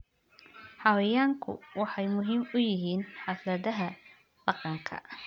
Xayawaanku waxay muhiim u yihiin xafladaha dhaqanka.